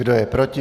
Kdo je proti?